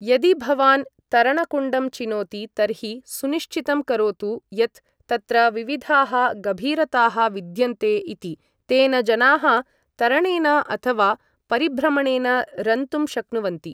यदि भवान् तरणकुण्डं चिनोति तर्हि सुनिश्चितं करोतु यत् तत्र विविधाः गभीरताः विद्यन्ते इति, तेन जनाः तरणेन अथ वा परिभ्रमणेन रन्तुं शक्नुवन्ति।